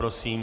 Prosím.